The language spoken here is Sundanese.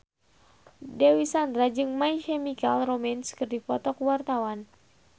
Dewi Sandra jeung My Chemical Romance keur dipoto ku wartawan